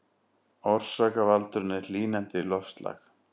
Orsakavaldurinn er hlýnandi loftslag